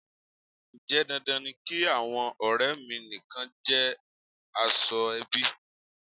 Ǹjẹ́ dandan ni kí àwọn ọrẹ mi nìkan jẹ́ aṣọ - ẹbí?